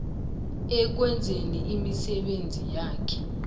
ekwenzeni imisebenzi yakhe